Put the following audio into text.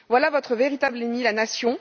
Voilà votre véritable ennemi la nation.